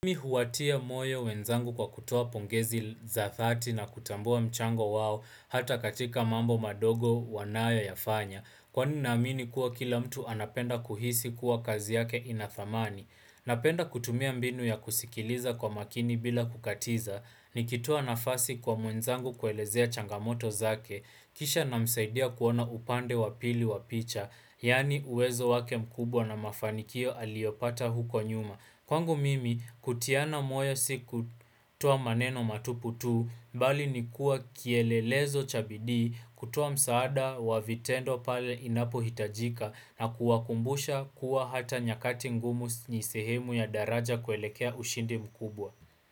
Mimi huwatia moyo wenzangu kwa kutoa pongezi za dhati na kutambua mchango wao hata katika mambo madogo wanayoyafanya. Kwani naamini kuwa kila mtu anapenda kuhisi kuwa kazi yake ina thamani. Napenda kutumia mbinu ya kusikiliza kwa makini bila kukatiza. Nikitoa nafasi kwa mwenzangu kuelezea changamoto zake. Kisha namsaidia kuona upande wa pili wa picha. Yaani uwezo wake mkubwa na mafanikio aliopata huko nyuma. Kwangu mimi, kutiana moyo si kutoa maneno matupu tu, bali ni kuwa kielelezo cha bidii, kutoa msaada wa vitendo pale inapohitajika na kuwakumbusha kuwa hata nyakati ngumu ni sehemu ya daraja kuelekea ushindi mkubwa.